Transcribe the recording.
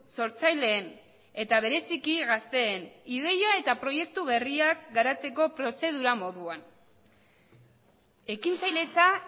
sortzaileen eta bereziki gazteen ideia eta proiektu berriak garatzeko prozedura moduan ekintzailetza